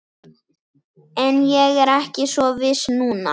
En ég er ekki svo viss núna